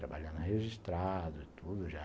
Trabalhando registrado e tudo já.